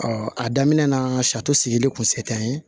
a daminɛ na sari sigili kun se tɛ an ye